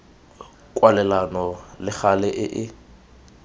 kwalelano le gale e e